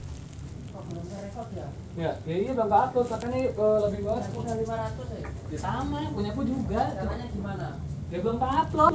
Griya ateges dalem